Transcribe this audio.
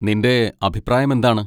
നിന്റെ അഭിപ്രായം എന്താണ്?